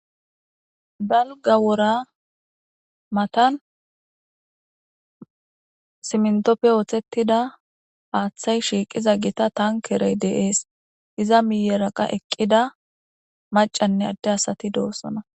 Dalga wora matan simntoppe ooththettida paaththay shiiqiza gita tankerey deees iza miyeraqa eqqida macanne adde asati doossona.